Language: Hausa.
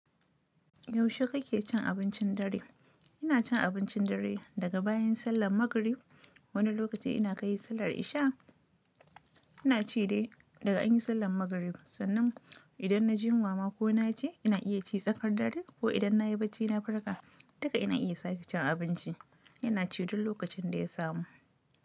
Yaushe kake cin abincin dare? Ina cin abincin dare daga bayan sallan magrib. Wani lokaci ina kai sallar isha. Ina ci dai daga an yi sallan magrib, sannan idan na ji yunwa ma ko na ci, ina iya ci tsakar dare ko idan na yi bacci na farka, duka ina iya sake cin abinci. Ina ci duk lokacin da ya samu.